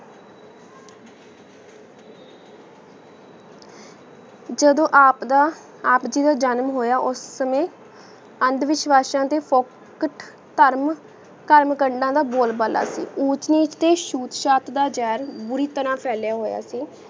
ਜਦੋ ਆਪ ਦਾ ਆਪ ਜੀ ਦਾ ਜਾਨਾਂ ਹੋਯਾ ਉਸ ਸੰਯ ਅੰਧ੍ਵਿਸ਼੍ਵਾਸ਼ਾ ਤੇ ਪੋ ਛੁਟ ਟਰਮ ਕਾਮ ਕੰਡਾ ਦਾ ਬੋਲ ਬਾਲਾ ਕੀ ਉਂਚ ਨੀਚ ਤੇ ਸ਼ੂਟ ਸ਼ਤ ਦਾ ਜ਼ਿਹਾਰ ਬੁਰੀ ਤਰਹ ਪਾਯ੍ਲਿਯਾ ਹੋਯਾ ਸੀ